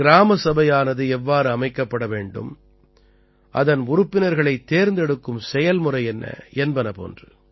கிராமசபையானது எவ்வாறு அமைக்கப்பட வேண்டும் அதன் உறுப்பினர்களைத் தேர்ந்தெடுக்கும் செயல்முறை என்ன என்பன போன்று